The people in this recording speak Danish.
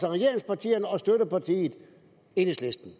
af regeringspartierne og støttepartiet enhedslisten